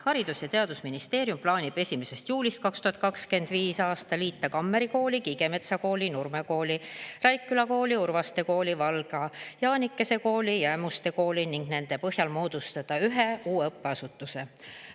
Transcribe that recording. Haridus- ja Teadusministeerium plaanib 1. juulist 2025. aastal liita Kammeri Kooli, Kiigemetsa Kooli, Nurme Kooli, Raikküla Kooli, Urvaste Kooli, Valga Jaanikese Kooli ja Ämmuste Kooli ning nende põhjal moodustada ühe uue õppeasutuse.